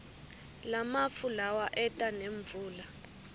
lamafu lawa eta nemvula